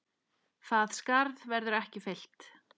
Það skarð verður ekki fyllt.